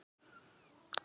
Á að bóka þetta?